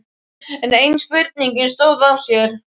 Enn ein spurningin stóð á sér.